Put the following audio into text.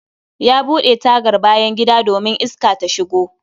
Ya bude tagar bayan gida domin Iska ta shigo